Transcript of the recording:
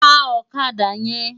Tá òkàdá yèn